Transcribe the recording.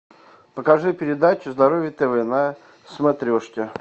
покажи передачу здоровье тв на смотрешке